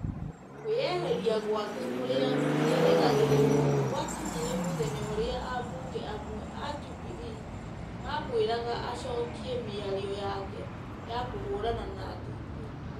Kwĩĩheria gwake kũrĩa gũtĩrĩgagĩrĩrwo gũakinyire mũthenya ũrĩa ambunge amwe a Jubilee mamwĩraga acokie mĩario yake ya kũhũrana na DP.